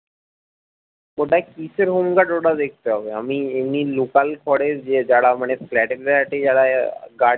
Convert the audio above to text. ওটাই কিসের home guard ওটা দেখতে হবে আমি এমনি local করে যে যারা মানে flat এ ট্যাঁট এ যারা আহ guard